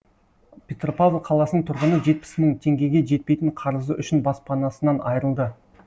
петропавл қаласының тұрғыны жетпіс мың теңгеге жетпейтін қарызы үшін баспанасынан айырылды